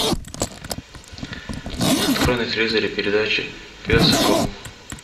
открой на телевизоре передачу пес и ко